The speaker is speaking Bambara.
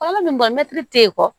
Fɔlɔ min tɛ yen kɔ